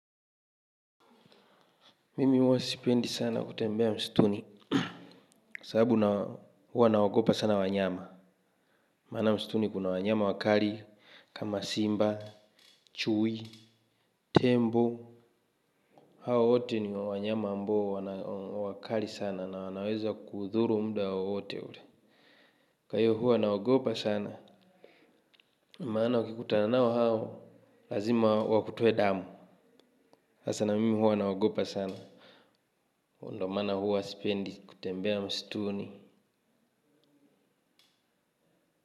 Mimi huwa sipendi sana kutembea msituni. Sababu na huwa nawaogopa sana wanyama. Maana msituni kuna wanyama wakali kama simba, chui, tembo. Hawa wote ni wanyama ambao wana wakali sana na wanaweza kuuthuru muda wowote ule. Kwa hiyo huwa nawagopa sana. Maana ukikutana nao hao lazima wakutoe damu. Hasa na mimi huwa nawagopa sana. Huu ndo maana huwa sipendi kutembea msituni.